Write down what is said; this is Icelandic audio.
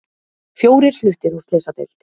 Fjórir fluttir á slysadeild